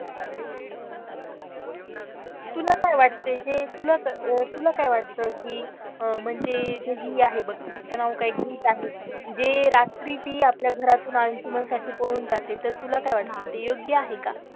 तुला काय वाटत जे अह तुला काय वाटत कि म्हणजे जे हि आहे बघ तीच नाव काय गीत आहे, जे म्हणजे रात्री ती आपल्या घरातून अंशुमन साठी पळून जाते तर तुला काय वाटत ते योग्य आहे का?